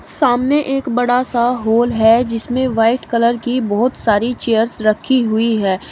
सामने एक बड़ा सा हॉल है जिसमें व्हाइट कलर की बहोत सारी चीयर्स रखी हुई है।